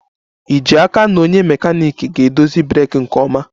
Ì ji n'aka na onye mekaniiki ga-edozi breeki nke ọma?